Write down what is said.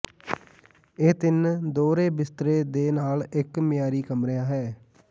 ਇਹ ਤਿੰਨ ਦੋਹਰੇ ਬਿਸਤਰੇ ਦੇ ਨਾਲ ਇੱਕ ਮਿਆਰੀ ਕਮਰੇ ਹੈ